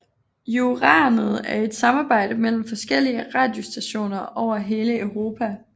Euranet er et samarbejde mellem forskellige radiostationer over hele Europa